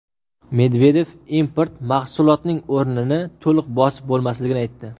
Medvedev import mahsulotning o‘rnini to‘liq bosib bo‘lmasligini aytdi.